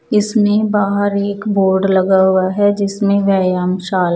इसमें बाहर एक बोर्ड लगा हुआ है जिसमें व्यायाम शाला --